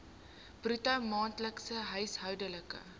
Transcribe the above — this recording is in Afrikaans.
bruto maandelikse huishoudelike